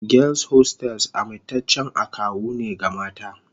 Girls hostels amintaccen akawu ne ga mata